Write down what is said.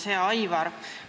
Hea Aivar!